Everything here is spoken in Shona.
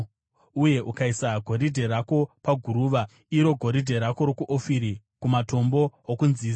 uye ukaisa goridhe rako paguruva, iro goridhe rako rokuOfiri kumatombo okunzizi,